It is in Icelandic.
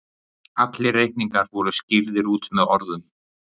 allir reikningar voru skýrðir út með orðum